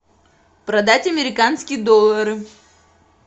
продать американские доллары